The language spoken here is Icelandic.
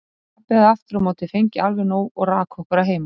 Pabbi hafði aftur á móti fengið alveg nóg og rak okkur að heiman.